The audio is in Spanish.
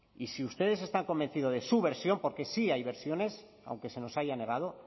y si ustedes están convencidos de su versión porque sí hay versiones aunque se nos haya negado